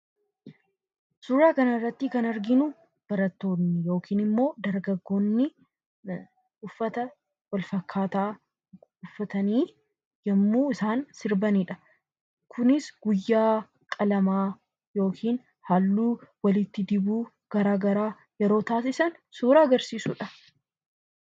Suura kanarratti kan arginu barattoonni yookiin immoo dargaggootni uffata wal fakkaataa uffatanii yommuu isaan sirbanidha. Kunis guyyaa qalamaa yookiin halluu walitti dibuu garaa garaa yeroo taasisan suura agarsiisudha.